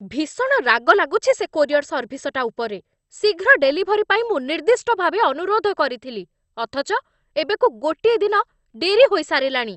ଭୀଷଣ ରାଗ ଲାଗୁଛି ସେ କୋରିୟର ସର୍ଭିସଟା ଉପରେ। ଶୀଘ୍ର ଡେଲିଭରି ପାଇଁ ମୁଁ ନିର୍ଦ୍ଦିଷ୍ଟ ଭାବେ ଅନୁରୋଧ କରିଥିଲି, ଅଥଚ ଏବେକୁ ଗୋଟିଏ ଦିନ ଡେରି ହୋଇସାରିଲାଣି!